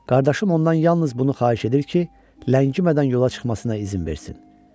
Qardaşım ondan yalnız bunu xahiş edir ki, ləngimədən yola çıxmasına izin versin.